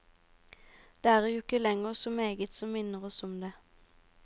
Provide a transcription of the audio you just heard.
Det er jo ikke lenger så meget som minner oss om det.